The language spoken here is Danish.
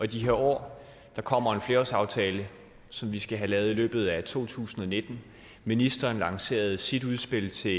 de her år der kommer en flerårsaftale som vi skal have lavet i løbet af to tusind og nitten ministeren lancerede sit udspil til